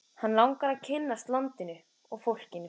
Hann langar að kynnast landinu og fólkinu.